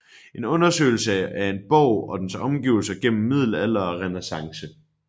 En undersøgelse af en borg og dens omgivelser gennem middelalder og renæssance